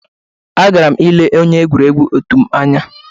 Agara m ile onye egwuregwu otu m anya